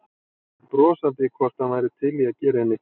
Spurði brosandi hvort hann væri til í að gera henni greiða.